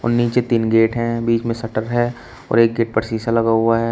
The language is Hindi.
नीचे तीन गेट हैं बीच में शट्टर है और एक गेट पर शीशा लगा हुआ है।